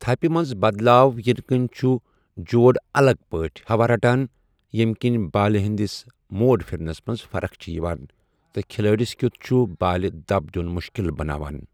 تھپہ منٛز بدلاو یِنہٕ کِنۍ چُھ جوڑاَلگ پٲٹھۍ ہَوا رَٹان، ییٚمہِ کِنۍ بالہِ ہِنٛدِس موڑ پِھرنَس منٛز فرق چھےٚ یِوان، تہٕ کھِلٲڑس کیُتھ چھُ بالہِ دَب دیُن مُشکِل بناوان ۔